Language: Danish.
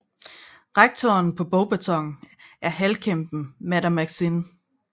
Rektoren på Beauxbatons er halvkæmpen Madame Maxime